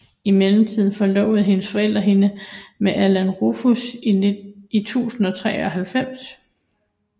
Imidlertid forlovede hendes forældre hende med Alan Rufus i 1093